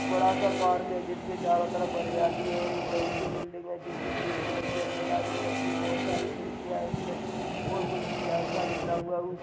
बड़ा सा पार्क है। जिसके चारों तरफ हरियाली है और एक बड़ी सी बिल्डिंग है जोकि ग्रीन कलर की अंडरलाइन हो रखी है। बहोत सारी खिड़कियाँ हैं इसमें और कुछ डिज़ाइन सा निकला हुआ है। ऊ --